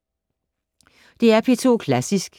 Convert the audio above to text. DR P2 Klassisk